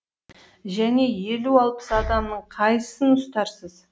және елу алпыс адамның қайсысын ұстарсыз